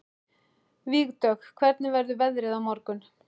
Vígdögg, hvernig verður veðrið á morgun?